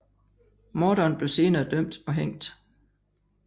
Morderen blev senere dømt og hængt